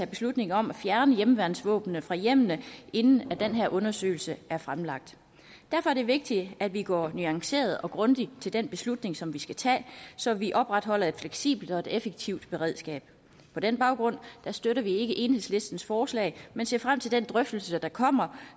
beslutning om at fjerne hjemmeværnsvåbnene fra hjemmene inden den her undersøgelse er fremlagt derfor er det vigtigt at vi går nuanceret og grundigt til den beslutning som vi skal tage så vi opretholder et fleksibelt og effektivt beredskab på den baggrund støtter vi ikke enhedslistens forslag men ser frem til den drøftelse der kommer